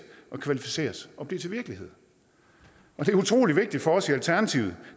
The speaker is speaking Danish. og kvalificeres og blive til virkelighed det er utrolig vigtigt for os i alternativet